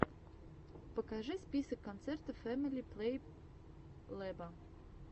покажи список концертов фэмили плейлэба